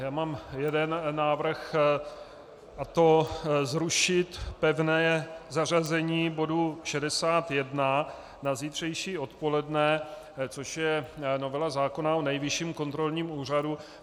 Já mám jeden návrh, a to zrušit pevné zařazení bodu 61 na zítřejší odpoledne, což je novela zákona o Nejvyšším kontrolním úřadu.